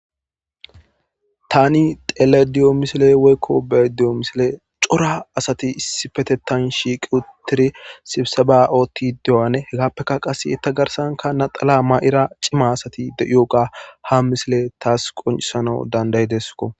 tani xeleda diyo misile woykko beyayda diyo misile cora asati issipetettan shiiqi uttidi sibseba7ootti dewane hegappekka qase etta garsanka naxala ma7ira cima asati de7ioga ha misile taas qoncisanau dandayidesko